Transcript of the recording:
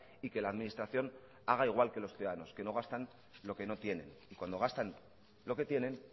y que la administración haga igual que los ciudadanos que no gastan lo que no tienen cuando gastan lo que tienen